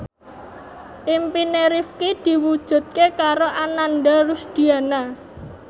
impine Rifqi diwujudke karo Ananda Rusdiana